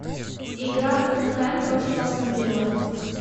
игра тоттенхэм против астон вилла